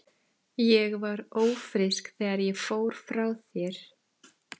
Ég var ófrísk þegar ég fór frá þér.